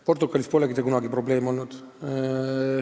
Portugalis polegi see kunagi probleem olnud.